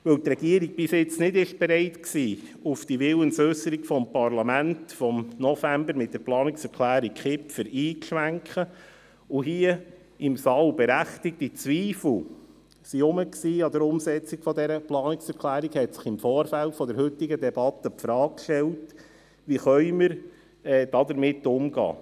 Weil die Regierung bisher nicht bereit war, auf die Willensäusserung des Parlaments vom November mit der Planungserklärung Kipfer einzuschwenken, und es hier im Saal berechtigte Zweifel an der Umsetzung dieser Planungserklärung gab, stellte sich im Vorfeld der heutigen Debatte die Frage, wie wir damit umgehen könnten.